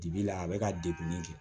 Bibi la a bɛ ka degun min kɛ